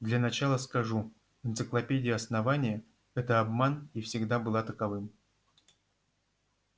для начала скажу энциклопедия основания это обман и всегда была таковым